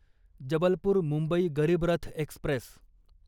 Jabalpur Mumbai Garib Rath Express